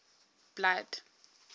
blood